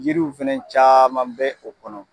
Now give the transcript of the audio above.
Yiriw fana caman bɛ o kɔnɔ